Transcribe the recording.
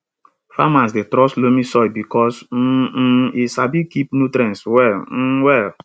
farmers dey trust loamy soil because um um e sabi keep nutrients well um well